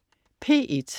P1: